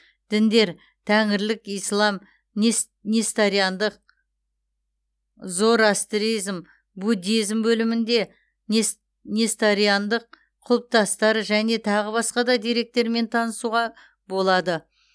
діндер тәңірлік ислам несториандық зороастризм буддизм бөлімінде несториандық құлпытастар және тағы басқа деректермен танысуға болады